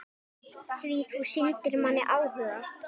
Því þú sýndir manni áhuga.